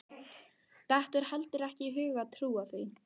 Dettur heldur ekki í hug að trúa því.